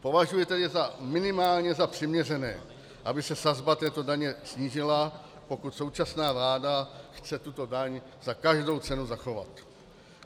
Považuji tedy minimálně za přiměřené, aby se sazba této daně snížila, pokud současná vláda chce tuto daň za každou cenu zachovat.